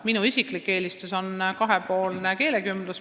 Minu isiklik eelistus on pigem kahepoolne keelekümblus.